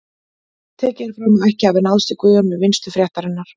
Tekið er fram að ekki hafi náðst í Guðjón við vinnslu fréttarinnar.